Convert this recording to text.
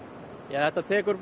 þetta tekur